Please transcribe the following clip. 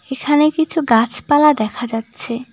এখানে কিছু গাছপালা দেখা যাচ্ছে।